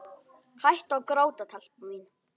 Hættu að gráta, telpa mín.